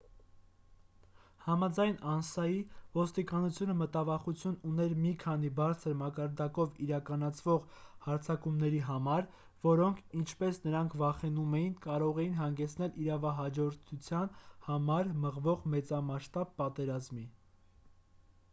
համաձայն անսայի ոստիկանությունը մտավախություն ուներ մի քանի բարձր մակարդակով իրականացվող հարձակումների համար որոնք ինչպես նրանք վախենում էին կարող էին հանգեցնել իրավահաջորդության համար մղվող մեծամասշտաբ պատերազմի